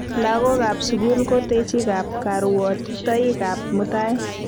Lakokap sukul ko techikap karuotitoikap mutai